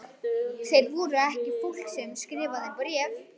Þeir voru ekki fólk sem skrifaði bréf.